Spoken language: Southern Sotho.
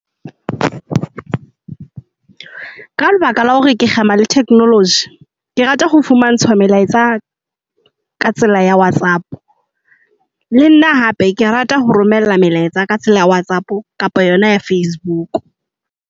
Ka lebaka la hore ke kgema le theknoloji, ke rata ho fumantshwa melaetsa ka tsela ya Whatsapp. Le nna hape ke rata ho romella melaetsa ka tsela ya Whatsapp kapa yona ya Facebook.